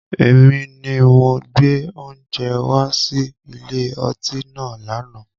Èmi ni mo gbé oúnjẹ wá sí ilé ọtí náà lànà